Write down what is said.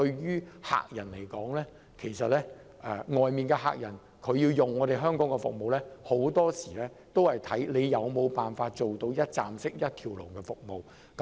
如要吸引海外的客戶使用香港服務，很多時候須視乎政府能否提供一站式的一條龍服務。